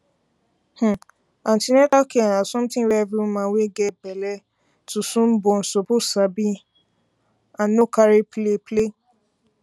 um an ten atal care na something wey every woman wey get belle um to soon born suppose sabi and um no carry play play